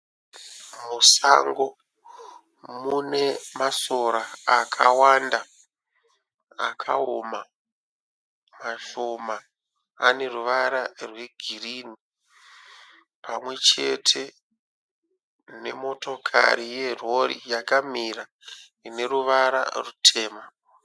Musango mune masora akawanda, akaoma. Mashoma ane ruvara rwegirini pamwe chete nemotokari yerori yakamira ine ruvara rutema.